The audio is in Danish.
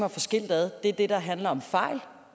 at få skilt ad er det der handler om fejl